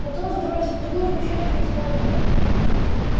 потом забрался поглубже в чащу и стал ждать